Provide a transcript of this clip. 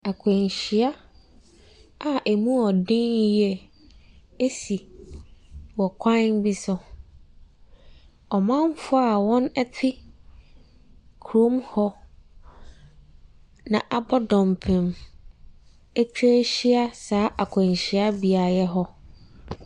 Nkwanhyia a ɛmu yɛ den yie asi wɔ kwan bi so. Ɔmanfoɔ a wɔte kurom hɔ na abɔ dɔmpen atwa ahyia saa akwanhyi beaeɛ hɔ.